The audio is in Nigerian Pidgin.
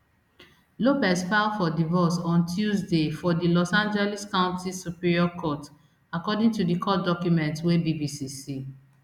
lopez file for divorce on tuesday for di los angeles county superior court according to court documents wey bbc see